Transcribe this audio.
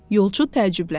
Yolçu təəccübləndi.